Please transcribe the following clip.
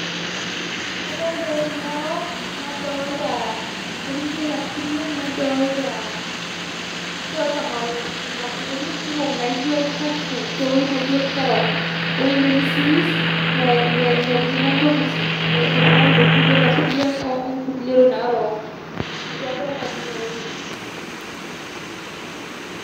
Kadolita ewueji narok nadoolta intokitin naaijio ilasuriak nadolita mau intokitin naajio olchafu laijio kerok ewueji nemisimis netijing'a intokitin niputaki intokitin naaijio ilasuriak onkulie tokitin naarok ninche adolita tine wueji.